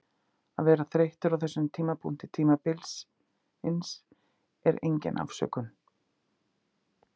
Að vera þreyttur á þessum tímapunkti tímabilsins er engin afsökun.